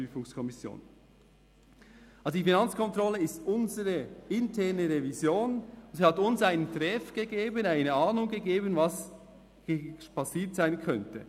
Also, die Finanzkontrolle ist unsere interne Revision, und sie hat uns einen «Träf», eine Ahnung gegeben, was hier passiert sein könnte.